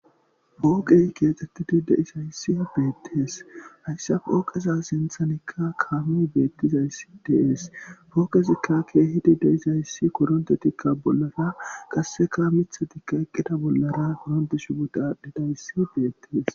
pooqey keexxettidi deisayssi beettees hayssa pooqeza sinthanikka kaami beettizayssi dees fookezikka keehidi de isayssi koronte tikka bollara qasseka mitha tikka eqqida bollara koronte shibutaddhidayssi deettes